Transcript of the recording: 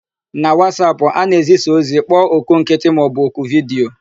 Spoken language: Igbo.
Na Wasapụ, a na-ezisa ozi, kpọọ oku nkịtị maọbụ oku vidiyo.